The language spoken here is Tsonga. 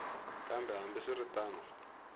kambe hambi swi ri tano